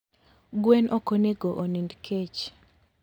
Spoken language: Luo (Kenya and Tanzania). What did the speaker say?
Gwen okonego onind kech